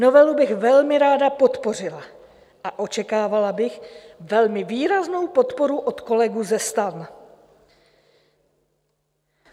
Novelu bych velmi ráda podpořila a očekávala bych velmi výraznou podporu od kolegů ze STAN.